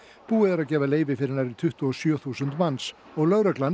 búið er að gefa leyfi fyrir nærri tuttugu og sjö þúsund manns lögreglan